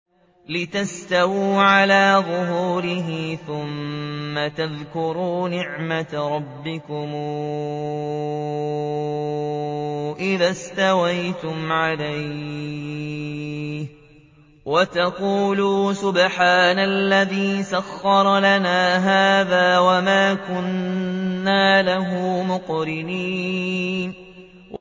لِتَسْتَوُوا عَلَىٰ ظُهُورِهِ ثُمَّ تَذْكُرُوا نِعْمَةَ رَبِّكُمْ إِذَا اسْتَوَيْتُمْ عَلَيْهِ وَتَقُولُوا سُبْحَانَ الَّذِي سَخَّرَ لَنَا هَٰذَا وَمَا كُنَّا لَهُ مُقْرِنِينَ